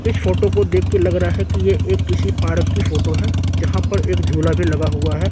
इस फोटो को देखके लग रहा है कि ये एक किसी पार्क की फोटो है जहां पर एक झूला भी लगा हुआ है।